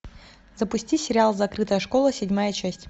запусти сериал закрытая школа седьмая часть